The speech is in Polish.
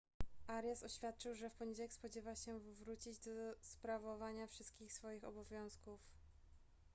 arias oświadczył że w poniedziałek spodziewa się wrócić do sprawowania wszystkich swoich obowiązków